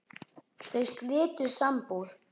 Þau slitu sambúð.